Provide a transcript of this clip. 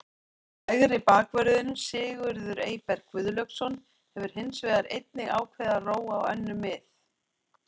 Hægri bakvörðurinn Sigurður Eyberg Guðlaugsson hefur hins vegar einnig ákveðið að róa á önnur mið.